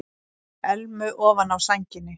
Elmu ofan á sænginni.